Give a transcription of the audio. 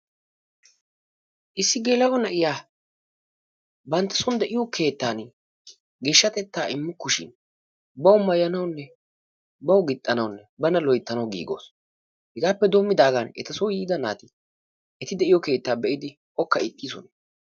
Issi gela''o na'iya bantta son de'iyo keettan geeshshatetta immukkushin baw maayyanuwunne baw gixxanawunne bana loyttnaw giigawus. hegappe denddigaan eta soo yiida naati eta keettaa be'idi ookka eexxisoona.